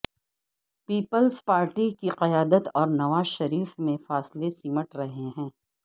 Peoples Party کی قیادت اور نواز شریف میں فاصلے سمٹ رہے ہیں